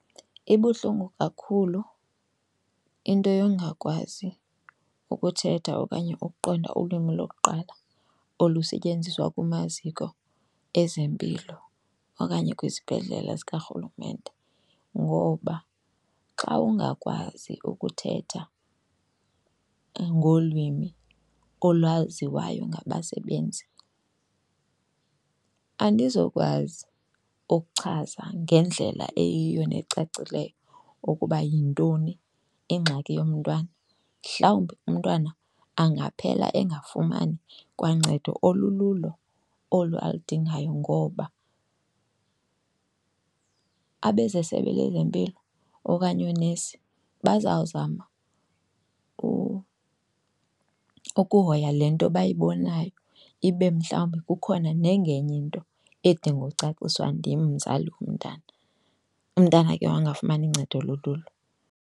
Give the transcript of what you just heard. Ibuhlungu kakhulu into yongakwazi ukuthetha okanye ukuqonda ulwimi lokuqala olusetyenziswa kumaziko ezempilo okanye kwizibhedlele zikaRhulumente. Ngoba xa ungakwazi ukuthetha ngolwimi olwaziwayo ngabasebenzi andizokwazi ukuchaza ngendlela eyiyo necacileyo ukuba yintoni ingxaki yomntwana. Mhlawumbi umntwana angaphela engafumani kwancedo olululo olu aludingayo ngoba abezesebe lezempilo okanye oonesi bazawuzama ukuhoya le nto bayibonayo ibe mhlawumbi kukhona nengenye into edinga ucaciswa ndim mzali womntana, umntana ke ngoku angafumani ncedo olululo.